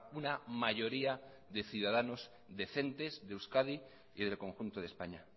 una mayoría de ciudadanos decentes de euskadi y del conjunto de españa